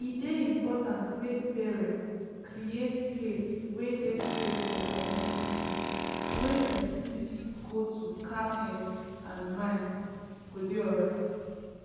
e dey important make parents create place wey dey safe for community wey person fit go to calm head and mind go dey alright